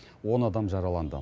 он адам жараланды